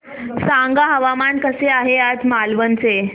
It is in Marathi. सांगा हवामान कसे आहे आज मालवण चे